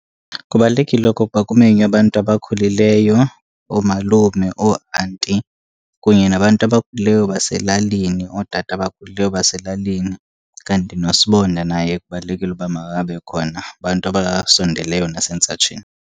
Kubalulekile okokuba kumenywe abantu abakhulileyo, oomalume, ooanti kunye nabantu abakhulileyo baselalini, ootata abakhulileyo baselalini. Kanti noSibonda naye kubalulekile uba makabe khona, abantu abasondeleyo nasentsatsheni.